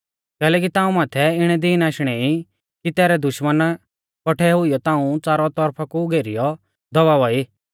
कैलैकि ताऊं माथै इणै दीन आशणै ई कि तैरै दुश्मना कौठै हुईयौ ताऊं च़ारौ तौरफा कु घेरीयौ दबाउआ ई